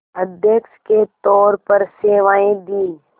अध्यक्ष के तौर पर सेवाएं दीं